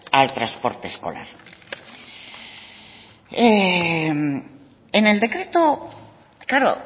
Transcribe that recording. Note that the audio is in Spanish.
al transporte escolar claro